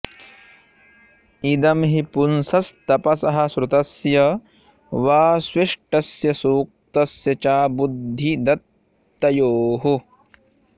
इदं हि पुंसस्तपसः श्रुतस्य वा स्विष्टस्य सूक्तस्य च बुद्धिदत्तयोः